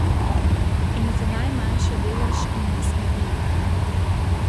In niti najmanjši delež jim ne sme uiti.